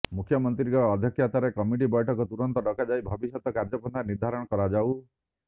ମୁଖ୍ୟମନ୍ତ୍ରୀଙ୍କ ଅଧ୍ୟକ୍ଷତାରେ କମିଟି ବୈଠକ ତୁରନ୍ତ ଡକାଯାଇ ଭବିଷ୍ୟତ କାର୍ଯ୍ୟପନ୍ଥା ନିର୍ଦ୍ଧାରଣ କରାଯାଉ